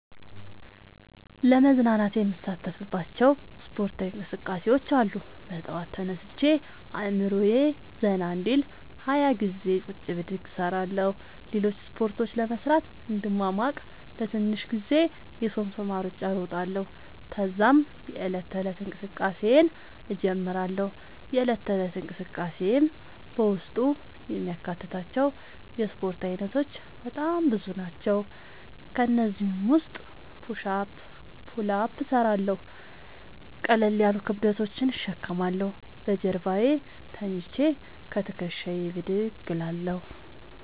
ለመዝናናት የምሣተፍባቸዉ እስፖርታዊ እንቅስቃሤዎች አሉ። በጠዋት ተነስቼ አእምሮየ ዘና እንዲል 20ገዜ ቁጭ ብድግ እሰራለሁ። ሌሎችን እስፖርቶች ለመሥራት እንድሟሟቅ ለትንሽ ጊዜ የሶምሶማ እሩጫ እሮጣለሁ። ተዛም የዕለት ተለት እንቅስቃሴየን እጀምራለሁ። የእለት ተለት እንቅስቃሴየም በውስጡ የሚያካትታቸዉ የእስፖርት አይነቶች በጣም ብዙ ናቸዉ። ከእነዚህም ዉስጥ ፑሽ አፕ ፑል አፕ እሠራለሁ። ቀለል ያሉ ክብደቶችን እሸከማለሁ። በጀርባየ ተኝቸ ከትክሻየ ብድግ እላለሁ።